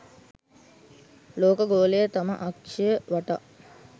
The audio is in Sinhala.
ලෝක ගෝලය තම අක්ෂය වටා